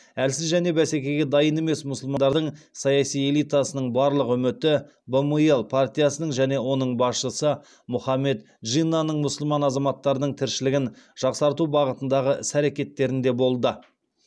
әлсіз және бәсекеге дайын емес мұсылмандардың саяси элитасының барлық үміті бмл партиясының және оның басшысы мұхаммед джиннаның мұсылман азаматтарының тіршілігін жақсарту бағытындағы іс әрекеттерінде болды